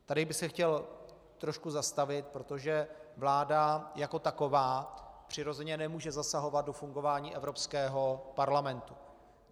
Tady bych se chtěl trošku zastavit, protože vláda jako taková přirozeně nemůže zasahovat do fungování Evropského parlamentu.